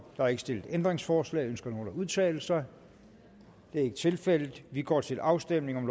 er ikke stillet ændringsforslag ønsker nogen at udtale sig det er ikke tilfældet vi går til afstemning